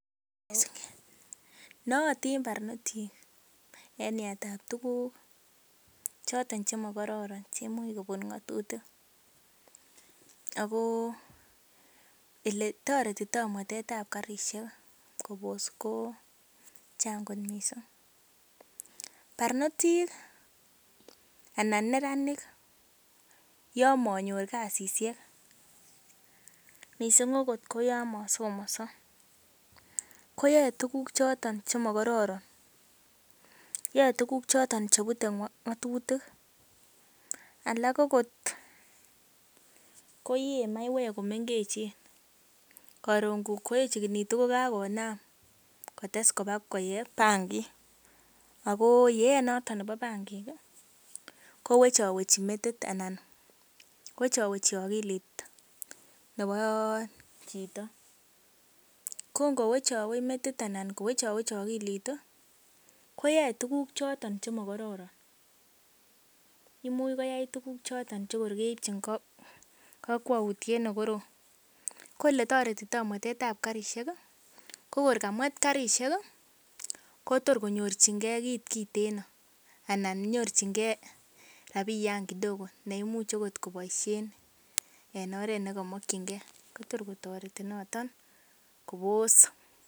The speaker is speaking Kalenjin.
Nootin barnotik en yaetab tuguk choton chemokororon che imuch kobut ng'atutik ago ele toretito mwetet ba karishek kobos ko chang' kot mising. Barnotik anan neranik yon monor kasishek, mising agot koyon mosomonso, koyae tuguk choto chemakororon yae tuguk choto chebute ng'atutik alak agot koyee maiywek komengechen. Koron koyechegitu kokagonam kotes koba koyee bangig ago yeet noto nebo bangig kowechowechi metit anan wechowechi ogilit nebo chito. Ko ngo wechowech metit anan kowechowech ogilit koyae tuguk choto chemakororon. Imuch koyai tuguk choto che kor keibchin kakwutiet ne korom. Ko ele toretito mwetet ab karishek kokor kamwet karishek kotor konyorjinge kit kiteno anan nyorjinge rabiyan kidogo neimuch agot koboisien en oret nekookinge. Ko tor kotoreti noton kobos.